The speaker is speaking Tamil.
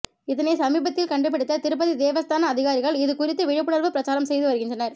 இதனை சமீபத்தில் கண்டுபிடித்த திருப்பதி தேவஸ்தான அதிகாரிகள் இது குறித்து விழிப்புணர்வு பிரச்சாரம் செய்து வருகின்றனர்